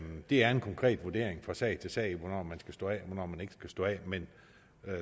det er en konkret vurdering fra sag til sag hvornår man skal stå af og hvornår man ikke skal stå af men